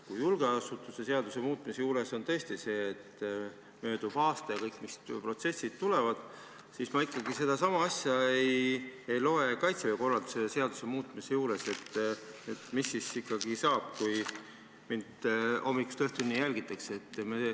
Kui julgeolekuasutuste seaduse muutmise juures on tõesti kirjas see, et möödub aasta ja mis protsessid kõik tulevad, siis ma sedasama asja ei loe välja Kaitseväe korralduse seaduse muutmise juurest, et mis siis ikkagi saab, kui mind hommikust õhtuni jälgitakse.